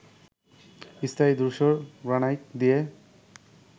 স্থানীয় ধূসর গ্রানাইট দিয়ে